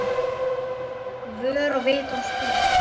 Vör er vitur og spurul